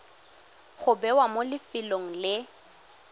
go bewa mo lefelong le